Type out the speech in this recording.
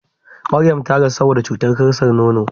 Maryam ta rasu saboda cutar kansar nono.